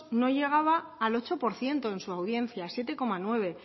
no llegaba al ocho por ciento en su audiencia siete coma nueve